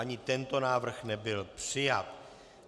Ani tento návrh nebyl přijat.